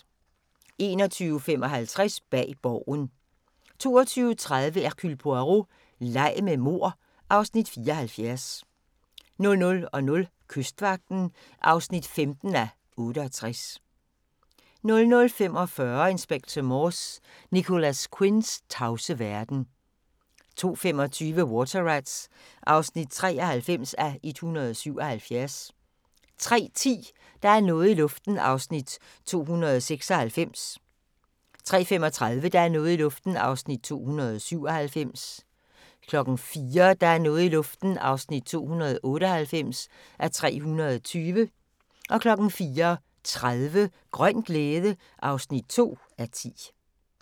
21:55: Bag Borgen 22:30: Hercule Poirot: Leg med mord (Afs. 74) 00:00: Kystvagten (15:68) 00:45: Inspector Morse: Nicholas Quinns tavse verden 02:25: Water Rats (93:177) 03:10: Der er noget i luften (296:320) 03:35: Der er noget i luften (297:320) 04:00: Der er noget i luften (298:320) 04:30: Grøn glæde (2:10)